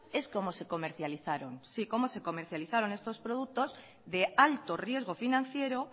es cómo se comercializaron sí cómo se comercializaron estos productos de alto riesgo financiero